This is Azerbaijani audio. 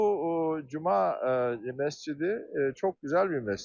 Bu cuma məscidi çox gözəl bir məscid.